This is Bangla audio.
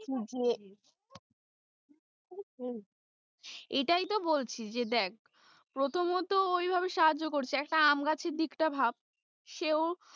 শেষ হতে চলেছে সেটা ভাবছে না কেউ এটাই তো এটাই তো বলছি যে এটাই তো বলছি যে দেখ প্রথমত, ঐভাবে সাহায্য করছে একটা আম গাছের দিকটা ভাব, সেও,